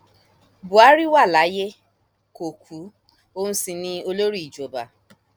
buhari wà láyé kó kú òun sí ni olórí ìjọba